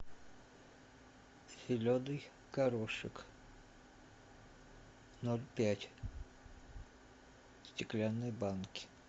зеленый горошек ноль пять в стеклянной банке